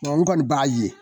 Nka u kɔni b'a ye